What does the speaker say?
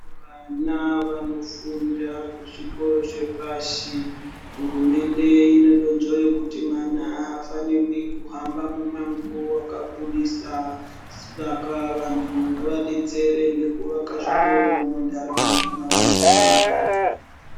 Vana vanofunda kuzvikoro zvepashi. Hurumende ine donzvo rekuti mwana afanirwi kuhamba mumango wakakura saka vantu ngavadetsere ngekuvaka zvikoro muntaraunda mwavanogara.